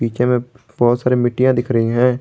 नीचे में बहोत सारे मिट्टियां दिख रही है।